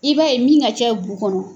I b'a ye min ka cɛ bu kɔnɔ